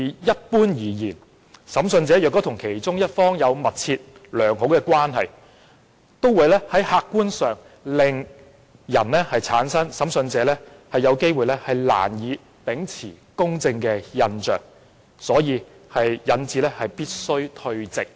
"一般而言，如果審訊者與訴訟雙方其中一方有密切、良好的關係，會令人產生審訊者難以秉持公正的印象，所以必須退席。